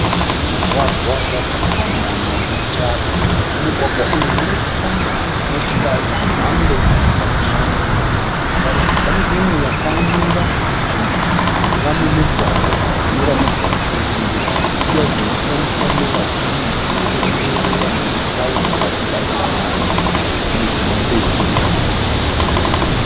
Mugwagwa wakapamhama une tara. Mumugwagwa umu muri kufamba motokari dzemhando dzakasiyana. Pane imwe yakamira mujinga memugwagwa inoratidza kuti ndedziya dzinoshandiswa nevazhinji kutenderera mumatawuni vachibhadhara mari dzinonzi matekisi.